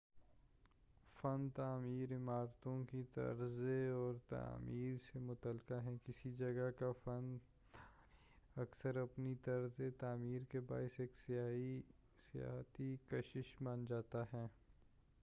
فن تعمیر عمارتوں کی طرزِ اور تعمیر سے متعلقہ ہے کسی جگہ کا فن تعمیر اکثر اپنی طرز تعمیر کے باعث ایک سیاحتی کشش بن جاتا ہے